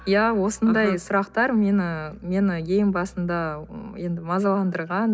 иә осындай сұрақтар мені мені ең басында м енді мазаландырған